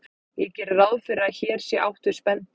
Ég geri ráð fyrir að hér sé átt við spendýr.